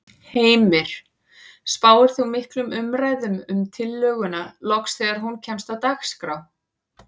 Heimir: Spáir þú miklum umræðum um tillöguna loks þegar hún kemst á dagskrá?